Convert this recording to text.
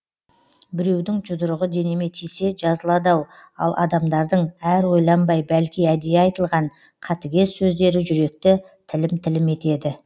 біреудің жұдырығы денеме тисе жазылады ау ал адамдардың әр ойланбай бәлки әдейі айтылған қатыгез сөздері жүректі тілім тілім етеді